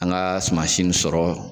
An ka sumansi nin sɔrɔ.